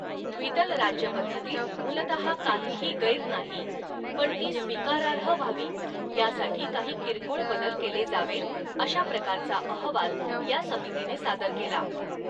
द्विदल राज्यपद्धतीत मूलतः काहीही गैर नाही, पण ती स्वीकारार्ह व्हावी यासाठी काही किरकोळ बदल केले जावेत, अशा प्रकारचा अहवाल या समितीने सादर केला.